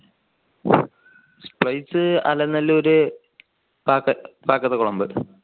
place Alanallur